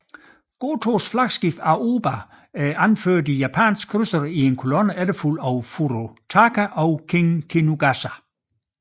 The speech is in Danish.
Gotōs flagskib Aoba anførte de japanske krydsere i kolonne efterfulgt af Furutaka og Kinugasa